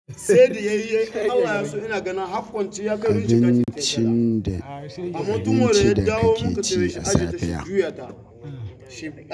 Abincin da abinci da kakeci a safiya.